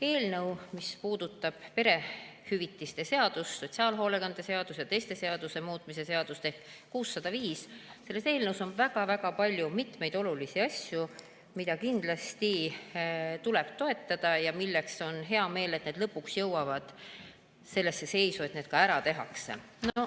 Eelnõus, mis puudutab perehüvitiste seaduse, sotsiaalhoolekande seaduse ja teiste seaduste muutmise seadust ehk 605, on väga-väga palju mitmeid olulisi asju, mida kindlasti tuleb toetada ja millest on hea meel, et need lõpuks jõuavad sellesse seisu, et need ka ära tehakse.